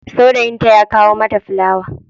Saurayinta ya kawo mata fulawa.